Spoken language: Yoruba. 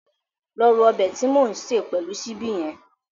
Lọ ro ọbẹ̀ tí mò ń sè pẹ̀lú ṣíbí hẹn